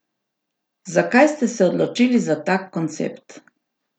Zakaj ste se odločili za tak koncept?